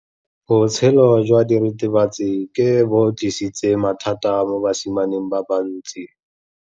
Botshelo jwa diritibatsi ke bo tlisitse mathata mo basimaneng ba bantsi.